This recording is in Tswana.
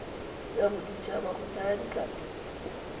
ya boditshaba go thaya ditlhapi